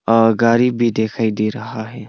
अ गरीब भी दिखाई दे रहा है।